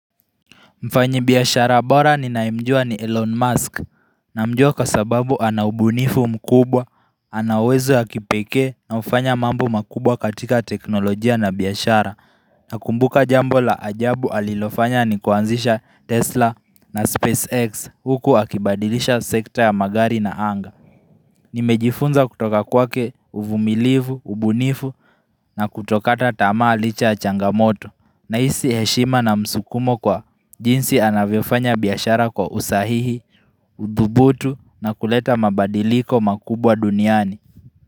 Mfanya biashara bora ninayemjua ni Elon Musk namjua kwasababu anaubunifu mkubwa, anauwezo ya kipekee na hufanya mambo makubwa katika teknolojia na biashara na kumbuka jambo la ajabu alilofanya ni kuanzisha Tesla na SpaceX huku akibadilisha sekta ya magari na Anga Nimejifunza kutoka kwake uvumilivu, ubunifu na kutokata tamaa licha ya changamoto ninahisi heshima na msukumo kwa jinsi anavyofanya biashara kwa usahihi, uthubutu na kuleta mabadiliko makubwa duniani.